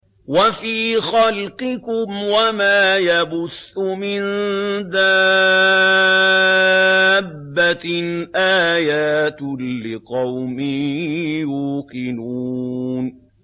وَفِي خَلْقِكُمْ وَمَا يَبُثُّ مِن دَابَّةٍ آيَاتٌ لِّقَوْمٍ يُوقِنُونَ